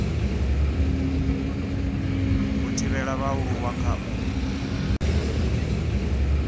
u thivhela vhaaluwa kha u